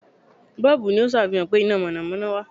Bọ́ọ̀bù' ni ó sàfihàn pé iná mọ̀nọ̀mọ́nọ́ wà